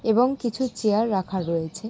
এবং কিছু চেয়ার রাখা রয়েছে।